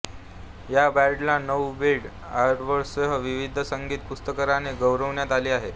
या ब्रँडला नऊ ब्रिट अवॉर्ड्ससह विविध संगीत पुरस्काराने गौरविण्यात आले आहे